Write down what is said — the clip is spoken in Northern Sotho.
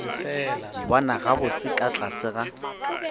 bona gabotse ka tlase ga